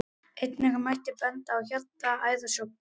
Einnig mætti benda á hjarta- og æðasjúkdóma.